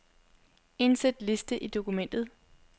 Indsæt liste i dokumentet.